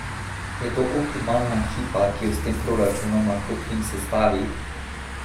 Je to optimalna ekipa, ki jo s tem proračunom lahko Krim sestavi?